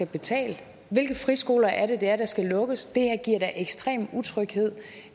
betale hvilke friskoler er det der skal lukkes det her giver da ekstrem utryghed